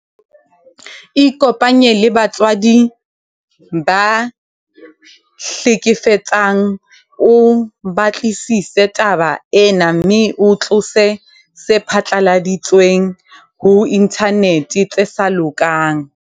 Ikopanye le batswadi ba ya hlekefetsang o batlisise taba ena mme o tlose tse phatlaladitsweng ho inthanete tse sa lokang.